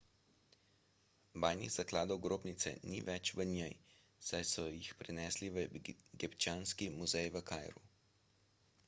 bajnih zakladov grobnice ni več v njej saj so jih prenesli v egipčanski muzej v kairu